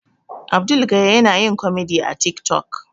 Abdul gaya yana yin komedi a tik tok